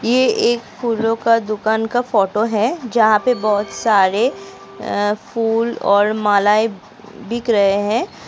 ये एक फूलों का दुकान का फोटो है जहाँ पे बहुत सारे फूल और मालायें बिक रहे हैं।